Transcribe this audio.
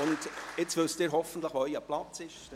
Hoffentlich wissen Sie jetzt, wo Ihre Plätze sind.